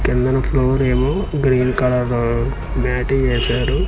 కిందన ఫ్లోర్ ఏమో green colour మ్యాటి ఏశారు.